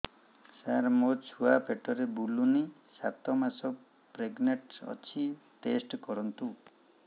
ସାର ମୋର ଛୁଆ ପେଟରେ ବୁଲୁନି ସାତ ମାସ ପ୍ରେଗନାଂଟ ଅଛି ଟେଷ୍ଟ କରନ୍ତୁ